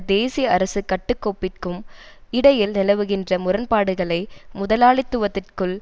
தேசிய அரசு கட்டுக்கோப்பிற்கும் இடையில் நிலவுகின்ற முரண்பாடுகளை முதலாளித்துவத்திற்குள்